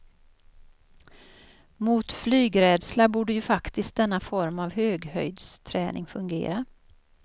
Mot flygrädsla borde ju faktiskt denna form av höghöjdsträning fungera.